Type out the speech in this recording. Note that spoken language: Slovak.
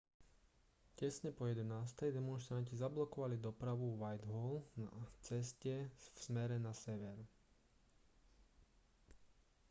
tesne po 11:00 demonštranti zablokovali dopravu vo whitehall na ceste v smere na sever